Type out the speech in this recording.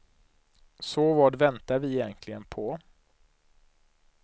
Så vad väntar vi egentligen på.